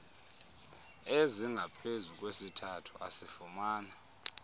ezingaphezu kwesithathu asifumana